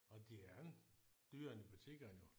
Det er ikke dyrere end i butikkerne jo